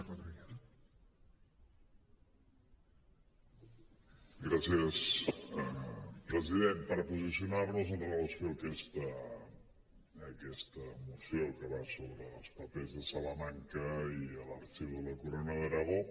per posicionar nos amb relació a aquesta moció que va sobre els papers de salamanca i l’arxiu de la corona d’aragó